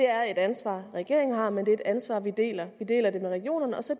er et ansvar regeringen har men det er et ansvar vi deler med regionerne og så